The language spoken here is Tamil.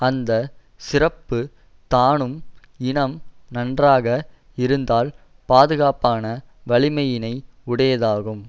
அந்த சிறப்பு தானும் இனம் நன்றாக இருந்தால் பாதுகாப்பான வலிமையினை உடையதாகும்